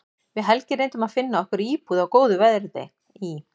Við Helgi reyndum að finna okkur íbúð á góðu verði í